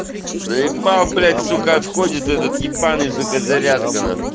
заебал блять сука отходит этот ебанный сука зарядка нах